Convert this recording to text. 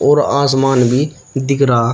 और आसमान भी दिख रहा--